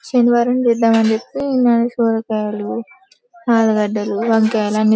శనివారం చేద్దామని చెప్పి సొరకాయలు ఆలుగడ్డలు వంకాయలు అన్ని--